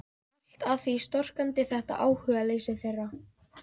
Allt að því storkandi þetta áhugaleysi þeirra.